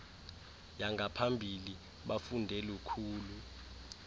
yangaphambili bafunde lukhulu